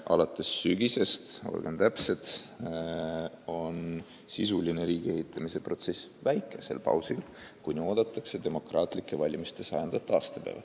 Alates sügisest, olgem täpsed, on sisuline riigiehitamise protsess väikesel pausil, kuni oodatakse demokraatlike valimiste 100. aastapäeva.